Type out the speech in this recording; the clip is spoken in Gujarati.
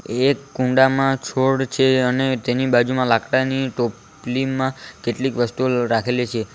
એક કુંડામાં છોડ છે અને ટેની બાજુમાં લાકડાની ટોપલીમાં કેટલીક વસ્તુઓ રાખેલી છે.